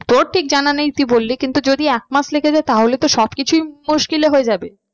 তোর ঠিক জানা নেই তুই বলি কিন্তু যদি একমাস লেগে যায় তাহলে তো সব কিছুই মুশকিলে হয়ে যাবে।